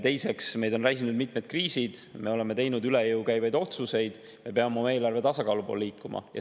Teiseks, meid on räsinud mitmed kriisid, me oleme teinud üle jõu käivaid otsuseid, me peame eelarvetasakaalu poole liikuma.